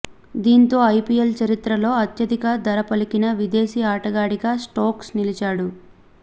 దీంతో ఐపిఎల్ చరిత్రలో అత్యధిక ధర పలికిన విదేశీ ఆటగాడిగా స్టోక్స్ నిలిచాడు